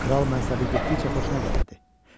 Kral mənsubiyyəti getdikcə xoşuna gəlirdi.